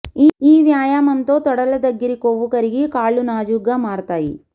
ఈ వ్యాయామంతో తొడల దగ్గరి కొవ్వు కరిగి కాళ్లు నాజూగ్గా మారతాయి